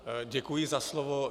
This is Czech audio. Děkuji za slovo.